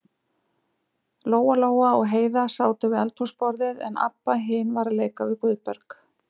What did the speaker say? Lóa-Lóa og Heiða sátu við eldhúsborðið, en Abba hin var að leika við Guðberg.